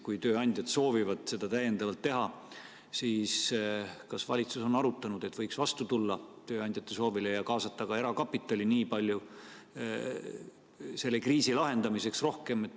Kui tööandjad soovivad seda täiendavalt teha, siis kas valitsus on arutanud, et võiks tööandjate soovile vastu tulla ja kaasata ka erakapitali selle kriisi lahendamiseks rohkem?